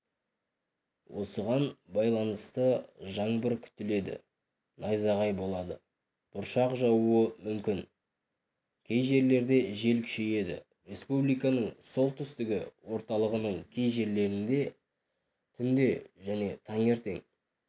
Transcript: осыған байланысты жаңбыр күтіледі найзағай болады бұршақ жаууы мүмкін кей жерлерде жел күшейеді республиканың солтүстігі орталығының кей жерлерінде түнде және таңертең